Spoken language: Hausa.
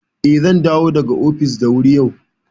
Eh, zan dawo daga ofis da wuri yau.